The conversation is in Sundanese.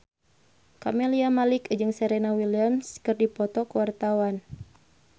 Camelia Malik jeung Serena Williams keur dipoto ku wartawan